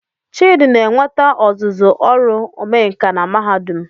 Chidi na-enweta ọzụzụ ọrụ omenkà na Mahadum